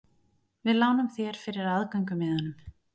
Við lánum þér fyrir aðgöngumiðanum.